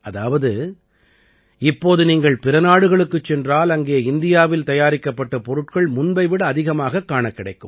அதாவது இப்போது நீங்கள் பிற நாடுகளுக்குச் சென்றால் அங்கே இந்தியாவில் தயாரிக்கப்பட்ட பொருட்கள் முன்பை விட அதிகமாகக் காணக் கிடைக்கும்